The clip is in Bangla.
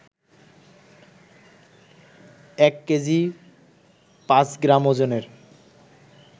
এক কেজি পাঁচ গ্রাম ওজনের